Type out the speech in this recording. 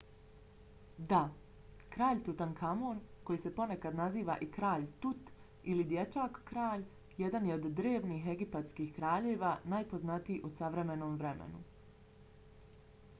da! kralj tutankamon koji se ponekad naziva i kralj tut ili dječak-kralj jedan je od drevnih egipatskih kraljeva najpoznatiji u savremenom vremenu